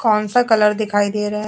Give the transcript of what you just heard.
कौन सा कलर दिखाई दे रहा है।